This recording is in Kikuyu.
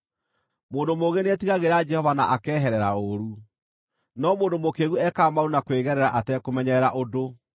Mũndũ mũũgĩ nĩetigagĩra Jehova na akeherera ũũru, no mũndũ mũkĩĩgu ekaga maũndũ na kwĩgerera atekũmenyerera ũndũ.